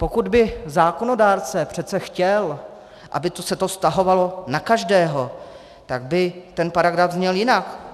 Pokud by zákonodárce přece chtěl, aby se to vztahovalo na každého, tak by ten paragraf zněl jinak.